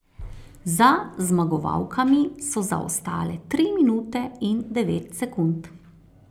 Za zmagovalkami so zaostale tri minute in devet sekund.